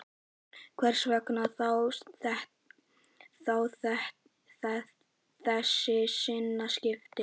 Hvers vegna þá þessi sinnaskipti?